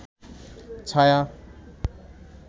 ছায়া